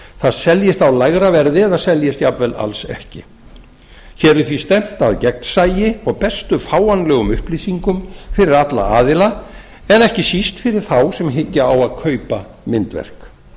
það seljist á lægra verði eða seljist jafnvel alls ekki hér er því stefnt að gegnsæi og bestu fáanlegum upplýsingum fyrir alla aðila en ekki síst fyrir þá sem hyggja á að kaupa myndverk